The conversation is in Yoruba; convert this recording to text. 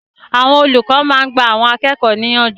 Àwọn olùkọ́ máa ń gba àwọn akẹ́kọ̀ọ́ ní ìyànjú.